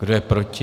Kdo je proti?